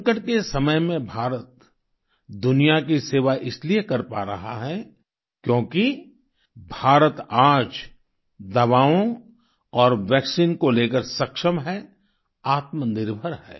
संकट के समय में भारत दुनिया की सेवा इसलिए कर पा रहा है क्योंकि भारत आज दवाओं और वैक्सीन को लेकर सक्षम है आत्मनिर्भर है